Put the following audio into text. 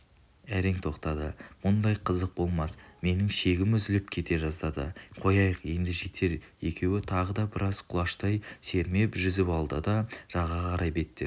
әрең тоқтады мұндай қызық болмас менің шегім үзіліп кете жаздады қояйық енді жетер екеуі тағы да біраз құлаштай сермеп жүзіп алды да жағаға қарай беттеді